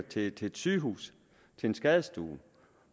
til et sygehus til en skadestue